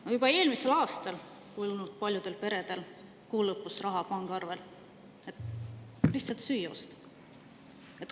No juba eelmisel aastal polnud paljudel peredel kuu lõpus raha pangaarvel, et lihtsalt süüa osta.